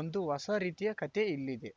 ಒಂದು ಹೊಸ ರೀತಿಯ ಕತೆ ಇಲ್ಲಿದೆ